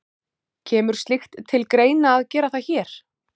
Kemur slíkt til greina að gera það hér?